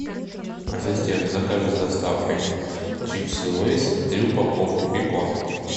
ассистент закажи с доставкой чипсы лейс три упаковки бекон